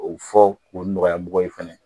Ko fɔ ko nɔgɔya mɔgɔ ye fɛnɛ.